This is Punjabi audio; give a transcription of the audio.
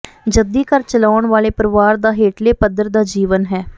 ਜੱਦੀ ਘਰ ਚਲਾਉਣ ਵਾਲੇ ਪਰਿਵਾਰ ਦਾ ਹੇਠਲੇ ਪੱਧਰ ਦਾ ਜੀਵਨ ਹੈ